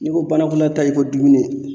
N'i ko banankɔlataa, i ko dumuni.